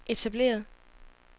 etableret